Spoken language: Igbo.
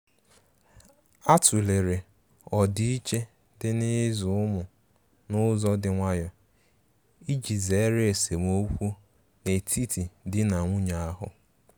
A tụ̀lere ọdiiche dị n'ịzụ ụmụ n'ụzọ dị nwayò iji zere esemokwu n'etiti di na nwunye ahu.